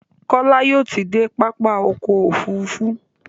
kola yóò tí dé pápá ọkọ̀ òfurufú.